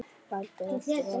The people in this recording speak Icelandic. Heldur aftur og aftur.